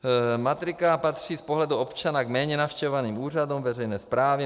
Matrika patří z pohledu občana k méně navštěvovaným úřadům veřejné správy.